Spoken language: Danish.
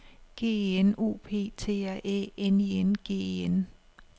G E N O P T R Æ N I N G E N